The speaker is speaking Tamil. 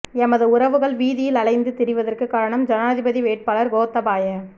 எமது உறவுகள் வீதியில் அலைந்து திரிவதற்கும் காரணம் ஜனாதிபதி வேட்பாளர் கோத்தாபாய